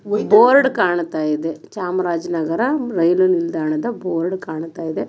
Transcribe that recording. ಇಲ್ಲಿ ಬೋರ್ಡ್ ಕಾಣತೈದೆ ಚಾಮರಾಜನಗರ ರೈಲ್ವೆ ನಿಲ್ದಾಣದ ಬೋರ್ಡ್ ಕಾಣ್ತಾಯಿದೆ.